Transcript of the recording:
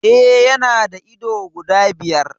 E, yana da ido guda biyar.